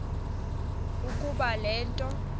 ukuba le nto